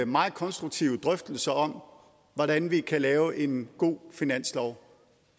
meget konstruktive drøftelser om hvordan vi kan lave en god finanslov